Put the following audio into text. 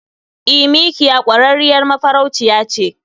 E, mikiya kwarrarriyar mafarauciya ce.